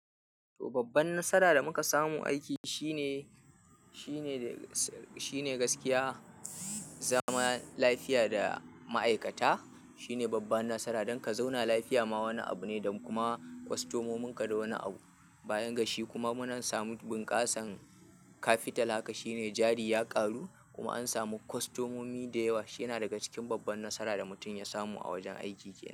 To, babban nasara da muka samu aiki shine, shine, shine gaskiya, zama lafiya da ma'aikata shine babban nasara don ka zauna lafiya ma wani abu ne, don kuma kwastomomin ka da wani abu. Bayan gashi kuma mun samu bunkasan capital. Saboda haka shine jari ya karu kuma an samu kwastomomi da yawa. Shiyana daga cikin babban nasara da mutum ya samu a wajen aiki kenan.